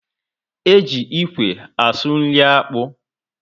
E ji ikwe asụ nri akpu